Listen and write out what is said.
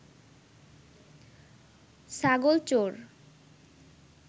ছাগল চোর